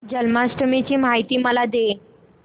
जन्माष्टमी ची माहिती मला दे